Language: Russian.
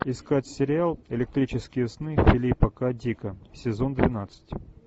искать сериал электрические сны филипа к дика сезон двенадцать